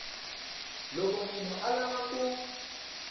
loko munhu a lava ku